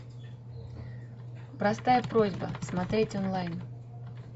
простая просьба смотреть онлайн